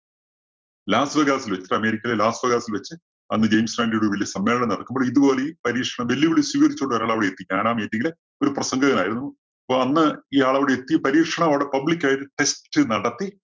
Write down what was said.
Las വേഗാസില്‍ വെച്ച് അമേരിക്കയിലെ ലാസ് വേഗാസില്‍ വെച്ച് അന്ന് ജെയിംസ് റാൻഡിയുടെ വലിയൊരു സമ്മേളനം നടക്കുമ്പോൾ ഇതുപോലെ ഈ പരീക്ഷണം ഈ വെല്ലുവിളി സ്വീകരിച്ചുകൊണ്ട് ഒരാൾ അവിടെ എത്തി. ഞാനാ meeting ല് ഒരു പ്രസംഗകനായിരുന്നു. അപ്പോ അന്ന് ഇയാള് അവിടെ എത്തി പരീക്ഷണം അവിടെ public ആയിട്ട് test നടത്തി